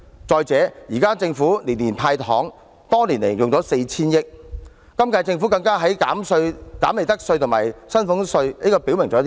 再者，政府年年"派糖"，多年間已用了 4,000 億元，今屆政府更減利得稅和薪俸稅，這表明甚麼？